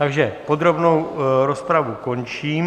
Takže podrobnou rozpravu končím.